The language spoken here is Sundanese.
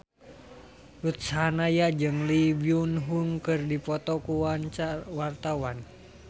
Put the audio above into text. Ruth Sahanaya jeung Lee Byung Hun keur dipoto ku wartawan